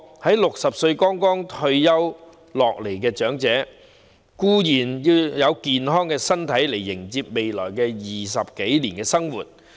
在60歲剛退下前線的長者固然要有健康身體來迎接未來20多年的新生活。